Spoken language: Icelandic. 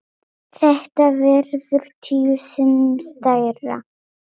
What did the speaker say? Þetta verður tíu sinnum stærra.